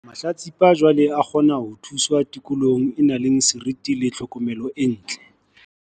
Mahlatsipa jwale a kgona ho thuswa tikolohong e nang le seriti le tlhokomelo e ntle.